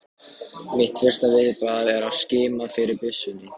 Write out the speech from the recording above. Mitt fyrsta viðbragð er að skima eftir byssunni.